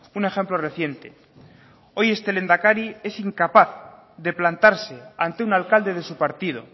un ejemplo reciente hoy este lehendakari es incapaz de plantarse ante un alcalde de su partido